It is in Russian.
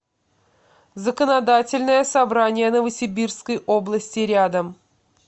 законодательное собрание новосибирской области рядом